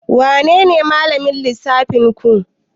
Wanene malamin lissafinku?